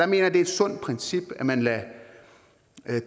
det er et sundt princip at man lader